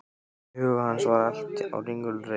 Í huga hans var allt á ringulreið.